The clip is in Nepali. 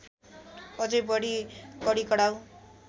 अझै बढी कडिकडाउ